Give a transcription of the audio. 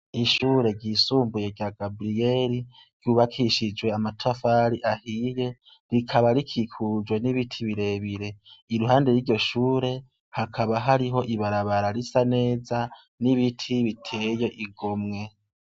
Ishuri ryisumbuye rya Gabriel ryubakishije amatafari ahiye rikaba rikikujwe n'ibiti birebire iruhande yiryo shuri hakaba hariho ibarabara risa neza n'ibiti biteye igomwe.